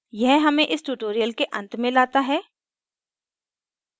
यह हमें इस tutorial के अंत में लाता है